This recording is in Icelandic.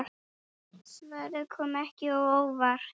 Svarið kom ekki á óvart.